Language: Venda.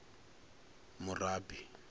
murabi